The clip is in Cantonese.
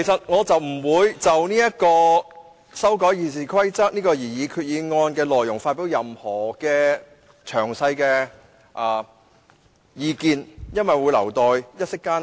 我現在不會就修訂《議事規則》的擬議決議案內容發表任何詳細的意見，留待一息間再提出。